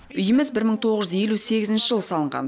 үйіміз бір мың тоғыз жүз елу сегізінші жылы салынған